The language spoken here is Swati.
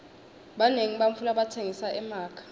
banengi bantfu labatsengisa emakha